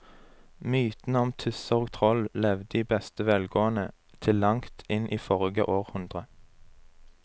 Mytene om tusser og troll levde i beste velgående til langt inn i forrige århundre.